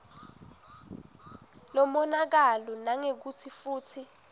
lomonakalo nangekutsi futsi